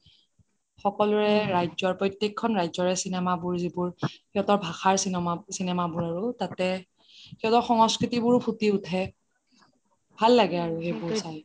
সকলোৰে ৰাজ্য প্ৰতেকখন ৰাজ্যৰে cinema বোৰ যিবোৰ সিঁহতৰ ভাষাৰ cinema বোৰ আৰু তাতে শিহতৰ সংস্কৃতি বোৰ ফুটি উঠে ভাল লাগে আৰু সেইবোৰ চাই